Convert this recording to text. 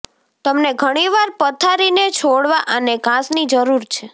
તમને ઘણી વાર પથારીને છોડવા અને ઘાસની જરૂર છે